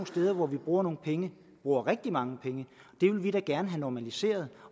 steder hvor vi bruger nogle penge bruger rigtig mange penge det vil vi da gerne have normaliseret